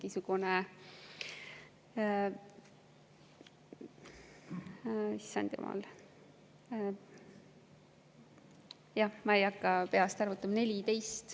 Issand jumal, ma ei hakka peast arvutama.